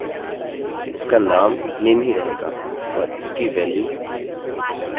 अतः चलिए text लिखते हैं इसका नाम नेम name ही रहेगा और इसकी वाल्यू alex होगी